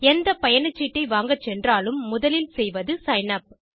எந்த பயணச்சீட்டை வாங்க சென்றாலும் முதலில் செய்வது சிக்ன் உப்